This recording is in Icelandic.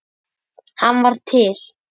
Hann var til.